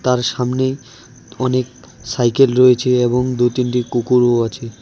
তার সামনে অনেক সাইকেল রয়েছে এবং দুই তিনটি কুকুরও আছে।